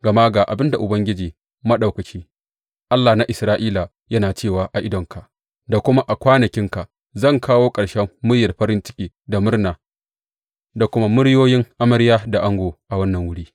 Gama ga abin da Ubangiji Maɗaukaki, Allah na Isra’ila, yana cewa a idanunka da kuma a kwanakinka zan kawo ƙarshen muryar farin ciki da murna da kuma muryoyin amarya da ango a wannan wuri.